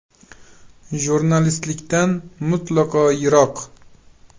Jurnalistikadan mutlaqo yiroq.